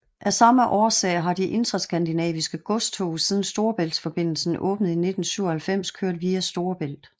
Af samme årsag har de interskandinaviske godstog siden Storebæltsforbindelsen åbnede i 1997 kørt via Storebælt